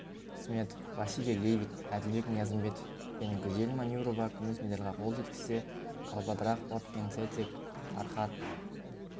сметов василий левит әділбек ниязымбетов пен гүзел манюрова күміс медальға қол жеткізсе галбадрах отгонцэцэг фархад